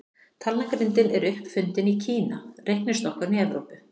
Talnagrindin er upp fundin í Kína, reiknistokkurinn í Evrópu.